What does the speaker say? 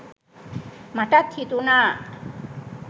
මටත් හිතුණා